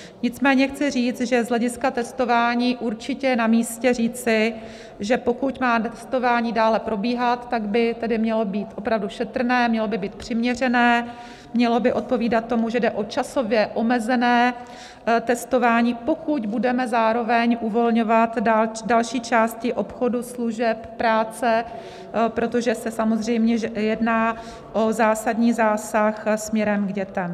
Nicméně chci říct, že z hlediska testování určitě je namístě říci, že pokud má testování dále probíhat, tak by tedy mělo být opravdu šetrné, mělo by být přiměřené, mělo by odpovídat tomu, že jde o časově omezené testování, pokud budeme zároveň uvolňovat další části obchodu, služeb, práce, protože se samozřejmě jedná o zásadní zásah směrem k dětem.